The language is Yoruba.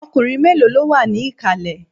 Ọkùnrin mélòó ló wà ní ìkàlẹ̀?